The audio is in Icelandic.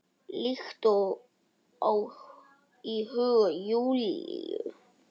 Líkt og í huga Júlíu.